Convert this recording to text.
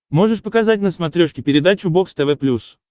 можешь показать на смотрешке передачу бокс тв плюс